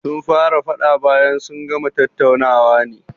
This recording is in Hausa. Sun fara faɗa bayan sun gama tattaunawa ne